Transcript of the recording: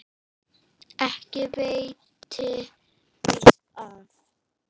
Ekki veitti víst af.